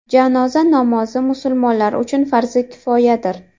Janoza namozi musulmonlar uchun farzi kifoyadir.